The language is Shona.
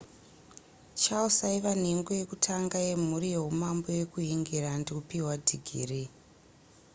charles aiva nhengo yekutanga yemhuri yehumambo yekuhingirandi kupihwa dhigiri